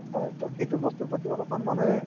হয়, so সেইটো বস্তুৰ প্ৰতি অলপমান মানুহে